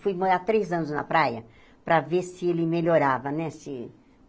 Fui morar três anos na praia para ver se ele melhorava, né? Se